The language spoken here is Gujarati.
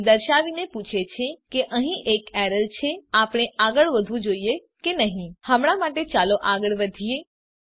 એ દર્શાવીને પૂછે છે કે અહીં એક એરર છે આપણે આગળ વધવું જોઈએ કે નહી હમણાં માટે ચાલો આગળ વધીએ